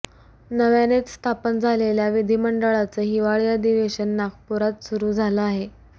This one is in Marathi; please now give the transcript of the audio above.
नव्यानेच स्थापन झालेल्या विधी मंडळाचं हिवाळी अधिवेशन नागपुरात सुरू झालं आहे